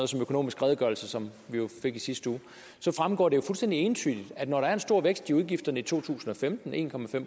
som økonomisk redegørelse som vi fik i sidste uge fremgår det jo fuldstændig entydigt at når der er en stor vækst i udgifterne i to tusind og femten en